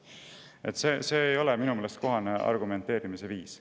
Minu meelest see ei ole kohane argumenteerimise viis.